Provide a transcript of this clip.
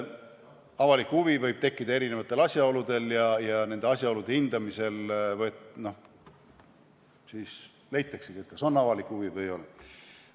Avalik huvi võib tekkida erinevatel asjaoludel ja nende asjaolude hindamisel leitaksegi, kas on avalik huvi või ei ole.